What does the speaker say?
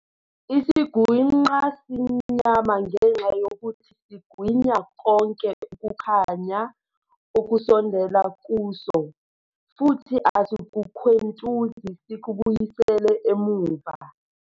Isigwinqa simnyama ngenxa yokuthi sigwinya konke ukukhanya okusondela kuso, futhi asikukhwentuzi sikubuyisele emuva.